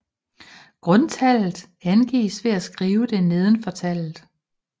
Grundtallet angives ved at skrive det nedenfor tallet